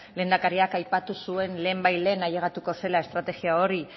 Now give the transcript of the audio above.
lehendakariak aipatu zuen lehen bait lehen ailegatuko zela estrategia hori